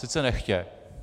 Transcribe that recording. Sice nechtě.